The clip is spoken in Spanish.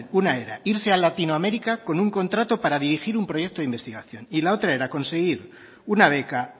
una era irse a latinoamérica con un contrato para dirigir un proyecto de investigación y la otra era conseguir una beca